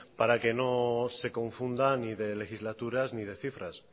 para que no se confunda ni de legislaturas ni de cifras